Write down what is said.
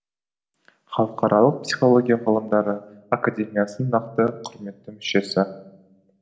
халықаралық психология ғылымдары академиясының нақты құрметті мүшесі